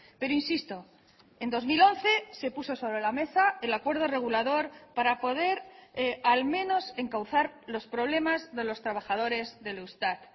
pero insisto en dos mil once se puso sobre la mesa el acuerdo regulador para poder al menos encauzar los problemas de los trabajadores del eustat